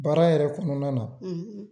Baara yɛrɛ kɔnɔna na